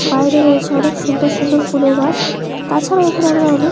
বাহিরে রয়েছে অনকে সুন্দর সুন্দর ফুলের গাছ। তাছাড়াও এইখানে আরো অনকে --